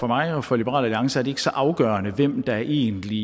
mig og for liberal alliance er det ikke så afgørende hvem der egentlig